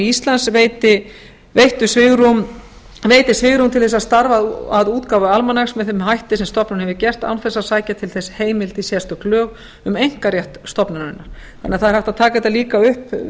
íslands veiti svigrúm til að starfa að útgáfu almanaks með þeim hætti sem stofnunin hefði gert án þess að sækja til þess heimild í sérstök lög um einkarétt stofnunarinnar það er því einnig hægt að taka þetta upp